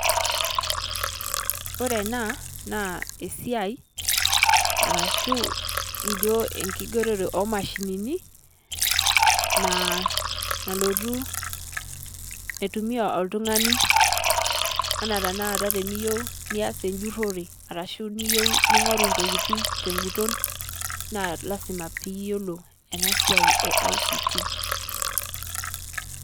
Ore ena naa esiai arashu ejoo enkigeroto e mashinini naa nalotuu etumia oltung'ani, anaa te naa aata tiniyieu niaas eijurore arashu niyeu ning'oru ntokitin te njuuton. Naa lasima piiyeloo ana siai e ICT.